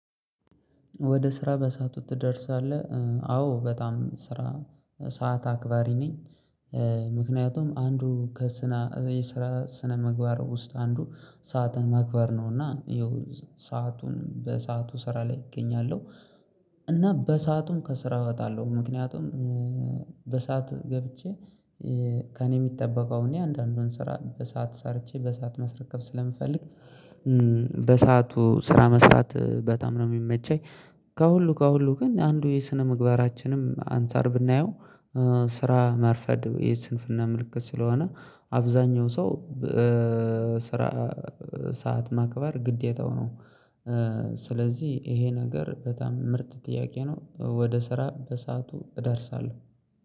ወደ ስራ በሰአቱ ትደርሳለህ? አዎ በጣም ስራ ሰዓት አክባሪ ነኝ። አንዱ ከስነ ስራ ስነ ምግባር ውስጥ አንዱ ሰዓትን ማክበር ነው እና ይኸው ሰአቱን በሰአቱ ስራ ላይ እገኛለሁ። እና በሰአቱም ከስራ እወጣለሁ ምክንያቱም በሰአት ገብቼ ከእኔ የሚጠበቀውን እኔ አንዳንዱን ስራ በሰአት ሰርቼ በሰአት መስረከብ ስለምፈልግ በሰአቱ ስራ መስራት በጣም ነው የሚመቸኝ። ከሁሉ ከሁሉ ግን አንዱ የስነ ምግባራችንም አንፃር ብናየው ስራ ማርፈድ የስንፍና ምልክት ስለሆነ አብዛኛው ሰው ስራ ሰዓት ማክበር ግዴታው ነው። ስለዚህ ይሄ ነገር በጣም ምርጥ ጥያቄ ነው ወደ ስራ በሰአቱ እደርሳለሁ።